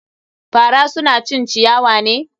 Fara suna cin ciyawa ne.